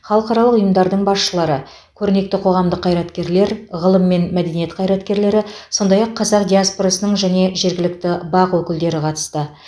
халықаралық ұйымдардың басшылары көрнекті қоғамдық қайраткерлер ғылым мен мәдениет қайраткерлері сондай ақ қазақ диаспорасының және жергілікті бақ өкілдері қатысты